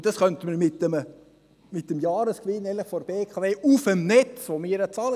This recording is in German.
Das könnten wir mit dem Jahresgewinn der BKW auf dem Netz bezahlen;